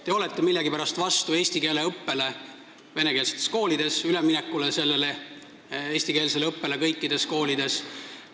Te olete millegipärast vastu üleminekule eestikeelsele õppele kõikides vene koolides.